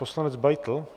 Poslanec Beitl!